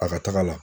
A ka taga la